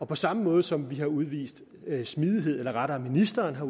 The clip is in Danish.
på samme måde som vi har udvist smidighed eller rettere ministeren har